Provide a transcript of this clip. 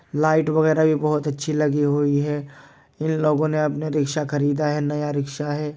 Light वगैरा भी बहुत अच्छी लगी हुई है इन लोगों ने अपना रिक्शा ख़रीदा है नया रिक्शा है।